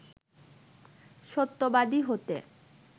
সত্যবাদী হতে